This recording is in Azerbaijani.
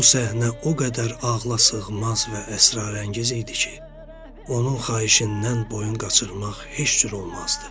Bu səhnə o qədər ağlasığmaz və əsrarəngiz idi ki, onun xahişindən boyun qaçırmaq heç cür olmazdı.